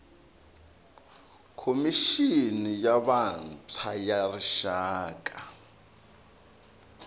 khomixini ya vantshwa ya rixaka